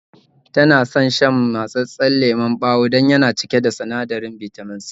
Tana son shan mattsasan lemon bawa dan yana cike da sinadarin Bitamin C